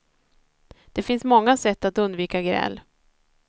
Det finns många sätt att undvika gräl.